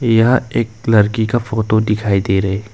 यह एक लरकी का फोटो दिखाई दे रहे--